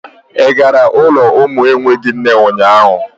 Ị gara ụlọ umu enweghị nne ụnyaahụ?